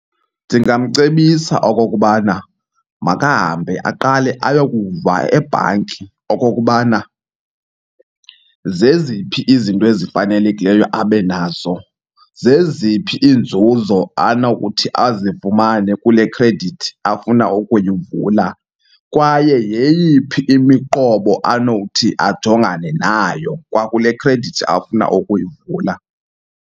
Ndingamcebisa okokubana makahambe aqale ayokuva ebhanki okokubana zeziphi izinto ezifanelekileyo abe nazo. Zeziphi iinzuzo anokuthi azifumane kule khredithi afuna ukuyivula kwaye yeyiphi imiqobo anowuthi ajongane nayo kwakule khredithi afuna ukuyivula.